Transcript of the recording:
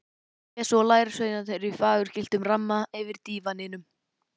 Jesú og lærisveinarnir í fagurgylltum ramma yfir dívaninum.